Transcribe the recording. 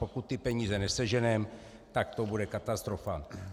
Pokud ty peníze neseženeme, tak to bude katastrofa.